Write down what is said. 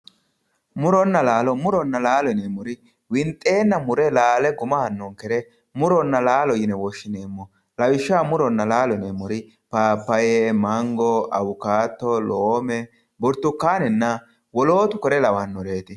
Murona laalo, murona laalo yineemmori winxenna laale guma aanonkeri murona laalo yine woshshineemmo lawishshaho muronna laalo yineemmori papayu mango awukado, loome burtukkanenna wolootu kuri lawanoreti.